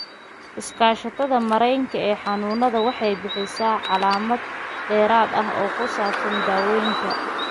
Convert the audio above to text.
Iskaashatada Maraykanka ee Xanuunada Eosinophiliga waxay bixisaa macluumaad dheeraad ah oo ku saabsan daaweynta eosinophiliga enteropathiga.